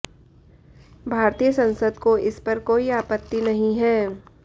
भारतीय संसद को इस पर कोई आपत्ति नहीं है